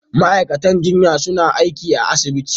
Ma'aikatan jinya suna aiki a asibiti.